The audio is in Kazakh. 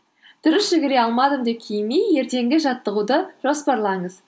дұрыс жүгіре алмадым деп ертеңгі жаттығуды жоспарлаңыз